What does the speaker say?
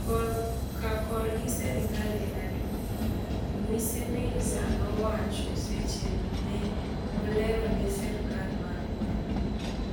kor ka korgi (serikal) en adui. Mwiseneza nowacho seche me olero ni sirikal ma gwenge